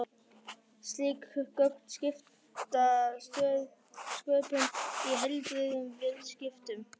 Slík gögn skipta sköpum í heilbrigðum viðskiptum.